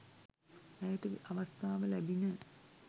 ඇයට අවස්ථාව ලැබිණ